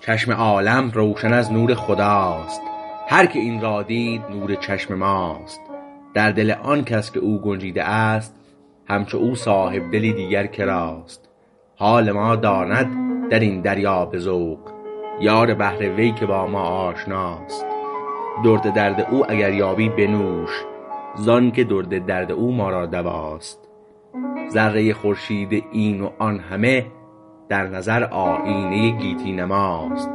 چشم عالم روشن از نور خداست هر که این را دید نور چشم ماست در دل آن کس که او گنجیده است همچو او صاحبدلی دیگر کراست حال ما داند درین دریا به ذوق یار بحر وی که با ما آشناست درد درد او اگر یابی بنوش زانکه درد درد او ما را دواست ذره خورشید این و آن همه در نظر آیینه گیتی نماست